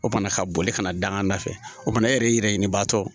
O fana ka boli kana dangan da fɛ o fana e yɛrɛ ɲinibaatɔ